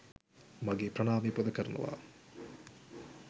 මගේ ප්‍රණාමය පුද කරනවා.